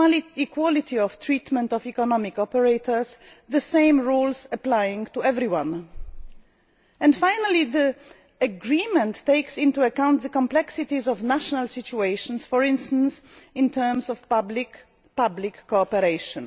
and equality of treatment of economic operators, with the same rules applying to everyone. Finally, the agreement takes into account the complexities of national situations, for instance in terms of public public cooperation.